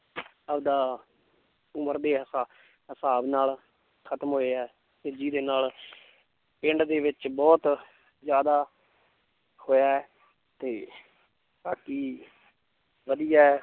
ਆਪਦਾ ਉਮਰ ਦੇ ਹਿਸਾ~ ਹਿਸਾਬ ਨਾਲ ਖਤਮ ਹੋਏ ਹੈ ਤੇ ਜਿਹਦੇ ਨਾਲ ਪਿੰਡ ਦੇ ਵਿੱਚ ਬਹੁਤ ਜ਼ਿਆਦਾ ਹੋਇਆ ਹੈ ਤੇ ਬਾਕੀ ਵਧੀਆ ਹੈ l